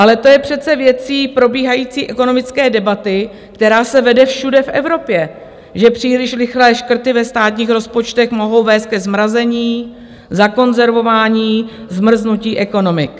Ale to je přece věcí probíhající ekonomické debaty, která se vede všude v Evropě, že příliš rychlé škrty ve státních rozpočtech mohou vést ke zmrazení, zakonzervování, zmrznutí ekonomik.